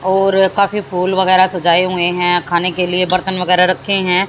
और काफी फूल वगैरह सजाए हुए हैं खाने के लिए बर्तन वगैरह रखे हैं।